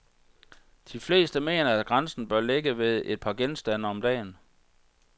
De fleste mener, at grænsen bør ligge ved et par genstande om dagen.